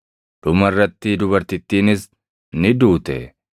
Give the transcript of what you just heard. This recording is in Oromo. Dhuma irratti dubartittiinis ni duute.